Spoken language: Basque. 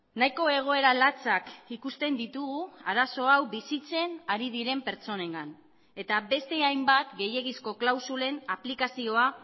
nahiko egoera latsak ikusten ditugu arazo hau bizitzen ari diren pertsonengan eta beste hainbat gehiegizko klausulen aplikazioa